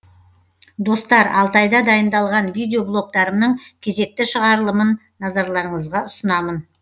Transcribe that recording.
достар алтайда дайындалған видеблогтарымның кезекті шығарылымын назарларыңызға ұсынамын